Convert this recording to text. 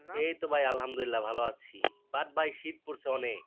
এই তো ভাই আলহামদুলিল্লাহ ভালো আছি বাদ ভাই শীত পড়ছে অনেক